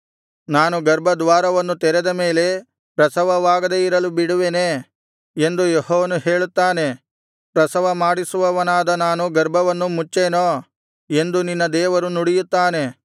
ನಾನು ಗರ್ಭದ್ವಾರವನ್ನು ತೆರೆದ ಮೇಲೆ ಪ್ರಸವವಾಗದೆ ಇರಲು ಬಿಡುವೆನೆ ಎಂದು ಯೆಹೋವನು ಹೇಳುತ್ತಾನೆ ಪ್ರಸವಮಾಡಿಸುವವನಾದ ನಾನು ಗರ್ಭವನ್ನು ಮುಚ್ಚೇನೋ ಎಂದು ನಿನ್ನ ದೇವರು ನುಡಿಯುತ್ತಾನೆ